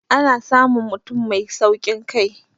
ana samun mutum Mai saukin Kai